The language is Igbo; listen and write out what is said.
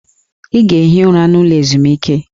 Ị ga-ehi ụra n'ụlọ ezumike!